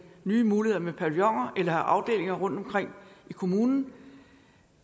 nye muligheder med pavillioner have afdelinger rundtomkring i kommunen